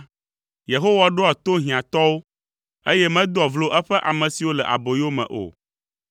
Yehowa ɖoa to hiãtɔwo, eye medoa vlo eƒe ame siwo le aboyome o.